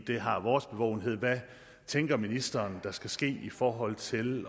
det har vores bevågenhed hvad tænker ministeren der skal ske i forhold til